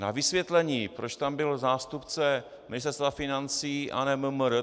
Na vysvětlení, proč tam byl zástupce Ministerstva financí a ne MMR.